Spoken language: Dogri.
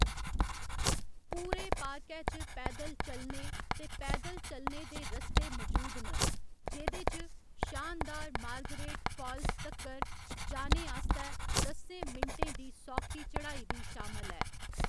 पूरे पार्कै च पैदल चलने ते पैदल चलने दे रस्ते मजूद न, जेह्‌‌‌दे च शानदार मार्गरेट फाल्स तक्कर जाने आस्तै दस्सें मिंटें दी सौखी चढ़ाई बी शामल ऐ।